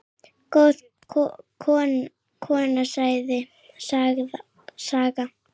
Góð kona, Saga.